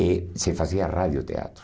E se fazia rádio teatro.